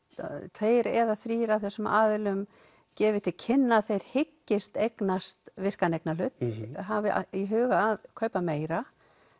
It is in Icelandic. tveir eða þrír af þessum aðilum gefið til kynna að þeir hyggist eignast virkan eignarhlut hafi í huga að kaupa meira